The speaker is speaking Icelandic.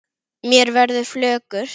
Mér verður flökurt